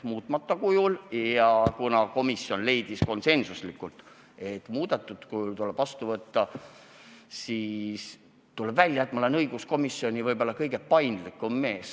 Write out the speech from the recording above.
Ja kuna komisjon leidis konsensuslikult, et seadus tuleb vastu võtta muudetud kujul, siis tuleb välja, et ma olen õiguskomisjonis võib-olla kõige paindlikum mees.